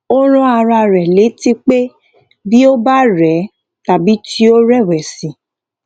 ó rán ara rè létí pé bí ó bá rè é tàbí tí ó rèwèsì